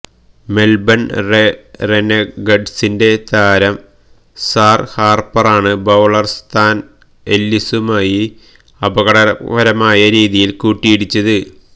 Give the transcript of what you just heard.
Melbourne റെനെഗഡ്സിന്റെ താരം സാര് ഹാര്പ്പറാണ് ബൌളര് നഥാന് എല്ലിസുമായി അപകടകരമായ രീതിയില് കൂട്ടിയിടിച്ചത്